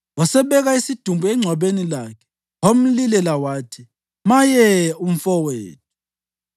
Wasebeka isidumbu engcwabeni lakhe, wamlilela wathi, “Maye, umfowethu!”